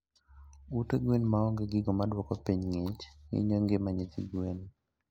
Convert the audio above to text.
Ute gwen maonge gigo maduoko piny ngich hinyo ngima nyithi gwen